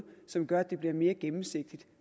som gør at det bliver mere gennemsigtigt